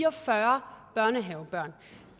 og fyrre børnehavebørn